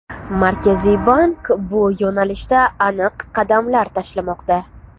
Markaziy bank bu yo‘nalishda aniq qadamlar tashlamoqda.